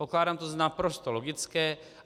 Pokládám to za naprosto logické.